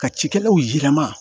Ka cikɛlaw yirama